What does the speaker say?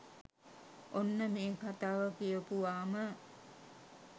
ඔන්න මේ කතාව කියපුවාම